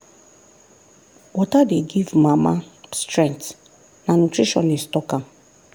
water dey give mama strength na nutritionist talk am.